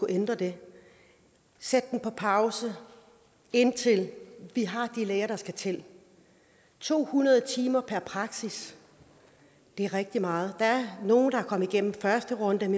ændre det sætte det på pause indtil vi har de læger der skal til to hundrede timer per praksis det er rigtig meget der er nogle der er kommet igennem første runde men